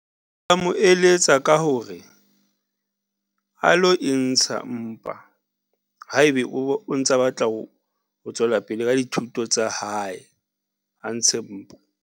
Nka mo eletsa ka hore a lo e ntsha mpa haebe o ntsa batla ho tswela pele ka dithuto tsa hae, a ntshe mpa.